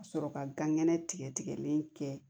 Ka sɔrɔ ka gan kɛnɛ tigɛlen kɛ